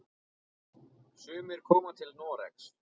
Sumir koma til Noregs.